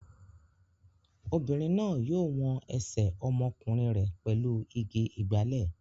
Obìnrin náà yóò wọn ẹsẹ̀ ọmọkùnrin rẹ̀ pẹ̀lú igi ìgbálè.